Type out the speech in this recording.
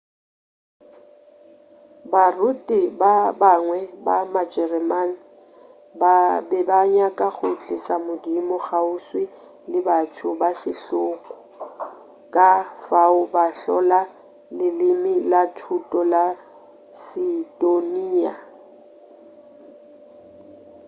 baruti ba bangwe ba majereman ba be ba nyaka go tliša modimo kgauswi le batho ba setlogo ka fao ba hlola leleme la thuto la seistoniya